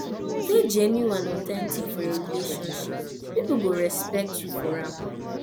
dey genuine and authentic for your relationship people go respect you for am